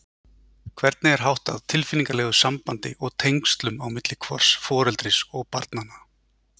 Hvernig er háttað tilfinningalegu sambandi og tengslum á milli hvors foreldris og barnanna?